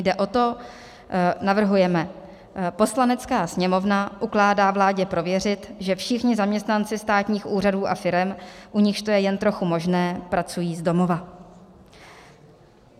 Jde o to - navrhujeme: "Poslanecká sněmovna ukládá vládě prověřit, že všichni zaměstnanci státních úřadů a firem, u nichž to je jen trochu možné, pracují z domova."